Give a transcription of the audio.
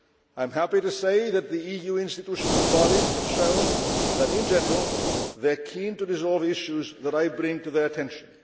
I am happy to say that the EU institutions and bodies have shown that in general, they are keen to resolve issues that I bring to their attention.